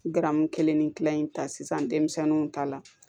Garamu kelen ni kila in ta sisan denmisɛnninw ta la